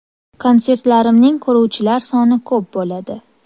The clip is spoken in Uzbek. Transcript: Konsertlarimning ko‘ruvchilar soni ko‘p bo‘ladi.